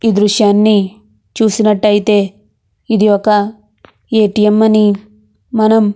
ఈ దృశ్నని చూసినట్టయితే ఇది ఒక ఏ.టీ.మ్. అని మనం